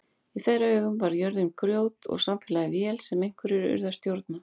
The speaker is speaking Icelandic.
Í þeirra augum var jörðin grjót og samfélagið vél sem einhverjir yrðu að stjórna.